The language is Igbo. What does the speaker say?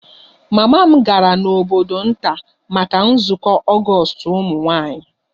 Mama m gara n'obodo nta maka nzukọ ogostu ụmụ nwanyị